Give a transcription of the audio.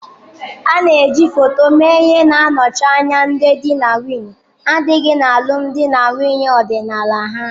A na eji foto mee ihe na-anọchi anya ndị di na nwunye adịghị na alụmdi na nwunye ọdịnala ha.